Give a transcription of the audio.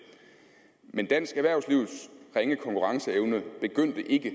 men dansk erhvervslivs ringe konkurrenceevne begyndte ikke